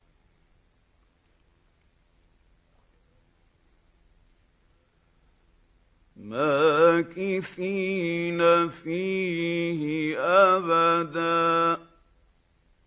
مَّاكِثِينَ فِيهِ أَبَدًا